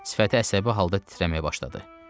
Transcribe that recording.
Sifəti əsəbi halda titrəməyə başladı.